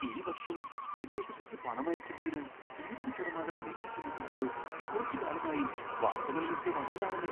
ഈ വർഷം വിദേശത്തേക്ക് പണമയക്കുന്നതിന് ഇരുപത് ശതമാനം നികുതി ചുമത്തുന്നത് കുറച്ചുകാലമായി വാർത്തകളിലൊക്കെ വന്നതാണല്ലോ!